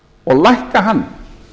og lækka hann